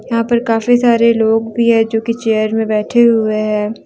यहां पर काफी सारे लोग भी है जो कि चेयर में बैठे हुए हैं।